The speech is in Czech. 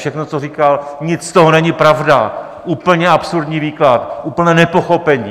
Všechno, co říkal, nic z toho není pravda, úplně absurdní výklad, úplné nepochopení.